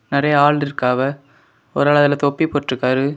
நிறைய ஆள் இருக்காவ ஒரு ஆள் அதுல தொப்பி போட்டு இருக்காரு.